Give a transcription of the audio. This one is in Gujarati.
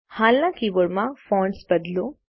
હાલના કીબોર્ડ માં ફોન્ટ્સ બદલો